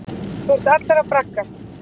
Þú ert allur að braggast.